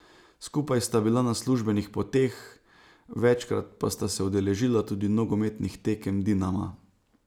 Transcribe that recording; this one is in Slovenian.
Skupaj sta bila na službenih poteh, večkrat pa sta se udeležila tudi nogometnih tekem Dinama.